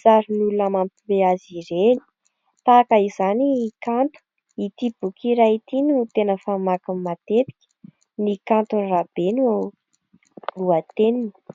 sarin'olona mampiomehy azy ireny. Tahaka izany i Kanto, ity boky iray ity no tena famakiny matetika, ny kanto Rabe ny lohateniny.